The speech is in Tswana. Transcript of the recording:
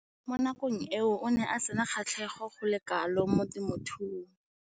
Mo nakong eo o ne a sena kgatlhego go le kalo mo temothuong.